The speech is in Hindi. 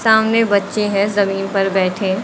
सामने बच्चे हैं जमीन पर बैठे।